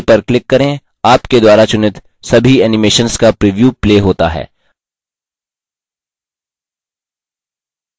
play पर click करें आपके द्वारा चुनित सभी animations का प्रिव्यू play होता है